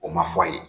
O ma fɔ ye